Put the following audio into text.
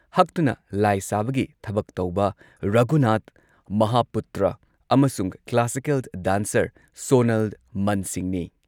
ꯍꯛꯇꯨꯅ ꯂꯥꯏ ꯁꯥꯕꯒꯤ ꯊꯕꯛ ꯇꯧꯕ ꯔꯘꯨꯅꯥꯊ ꯃꯍꯥꯄꯨꯇ꯭ꯔ ꯑꯃꯁꯨꯨꯡ ꯀ꯭ꯂꯥꯁꯤꯀꯦꯜ ꯗꯥꯟꯁꯔ ꯁꯣꯅꯥꯜ ꯃꯟꯁꯤꯡꯅꯤ꯫